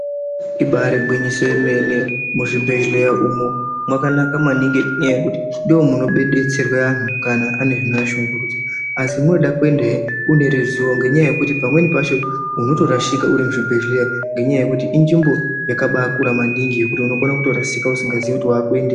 Ibari gwinyiso yemene. Muzvibhehleya umu mwakanaka maningi ngenyaya yekuti ndomunodetserwa anhu kana ane zvinoashungurudza asi munoda kuendahe mune ruzivo ngenyaya yekuti pamweni pacho unotorashika uri muchibhehleya ngenyaya yekuti inzvimbo yakabakura maningi yekuti unokona kutorasika usingazii kuti wakuendepi.